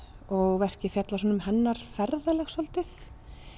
og verkið fjallar um hennar ferðalag svolítið